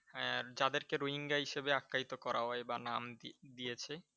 হ্যাঁ যাদেরকে র‍্যুইঙ্গা হিসাবে আখ্যায়িত করা হয় বা নাম দি দিয়েছে।